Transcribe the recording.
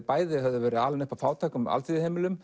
bæði höfðu verið alin upp af fátækum